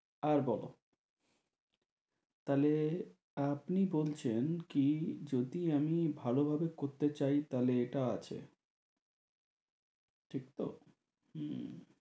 আর বলো তা হলে আপনি বলছেন কি যদি আমি ভালোভাবে করতে চাই তা হলে এটা আছে ঠিক তো? হম